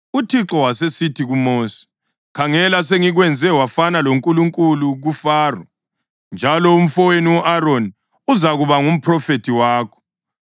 UThixo wasesithi kuMosi, “Khangela, sengikwenze wafana loNkulunkulu kuFaro, njalo umfowenu u-Aroni uzakuba ngumphrofethi wakho.